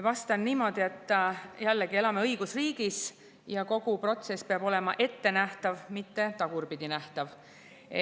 Vastan niimoodi, et me elame õigusriigis ja kogu protsess peab olema ette nähtav, mitte tagurpidi nähtav.